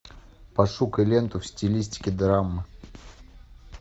пошукай ленту в стилистике драмы